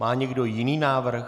Má někdo jiný návrh?